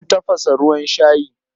Zan tafasa ruwan shayi.